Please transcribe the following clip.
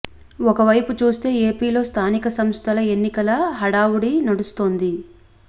ఒక వైపు చూస్తే ఏపీలో స్థానిక సంస్థల ఎన్నికల హడావుడి నడుస్తోంది